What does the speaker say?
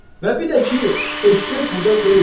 Və bir də ki, eşşək burda deyil.